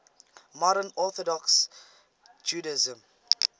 modern orthodox judaism